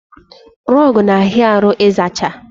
Rọgụ na ahịa arụ ịzacha